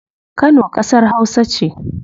Kano kasar hausa ce